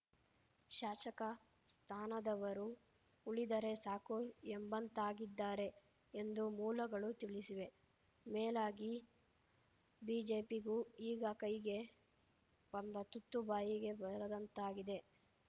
ಶಾಸಕ ಸ್ಥಾನದವರೂ ಉಳಿದರೆ ಸಾಕು ಎಂಬಂತಾಗಿದ್ದಾರೆ ಎಂದು ಮೂಲಗಳು ತಿಳಿಸಿವೆ ಮೇಲಾಗಿ ಬಿಜೆಪಿಗೂ ಈಗ ಕೈಗೆ ಬಂದ ತುತ್ತು ಬಾಯಿಗೆ ಬರದಂತಾಗಿದೆ